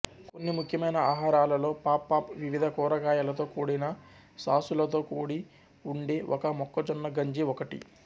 కొన్ని ముఖ్యమైన ఆహారాలలో పాప్పాప్ వివిధ కూరగాయలతో కూడిన సాసులతో కూడి ఉండే ఒక మొక్కజొన్న గంజి ఒకటి